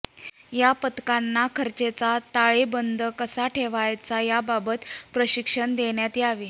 या पथकांना खर्चाचा ताळेबंद कसा ठेवायचा याबाबत प्रशिक्षण देण्यात यावे